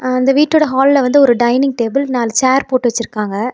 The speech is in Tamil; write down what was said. அந்த வீட்டோட ஹால்ல வந்து ஒரு டைனிங் டேபிள் நாலு சேர் போட்டு வச்சிருக்காங்க.